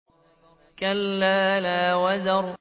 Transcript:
كَلَّا لَا وَزَرَ